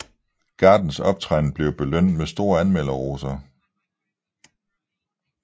Gardens optræden blev belønnet med store anmelderroser